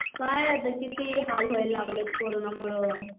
काय आता किती हाल व्हायला लागलेत कोरोनामुळे